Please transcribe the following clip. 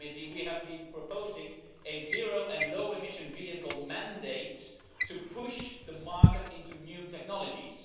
we have been proposing a zero and low-emission vehicle mandate to push the market into new technologies.